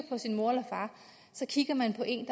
på en